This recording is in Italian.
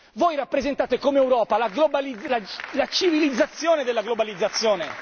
Voi rappresentate, come Europa, la civilizzazione della globalizzazione.